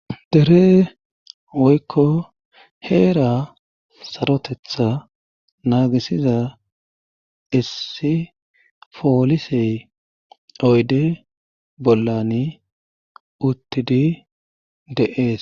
dere woykko heera sarotetha naagisiza issi foolisey oyde bollani uttidi de7ees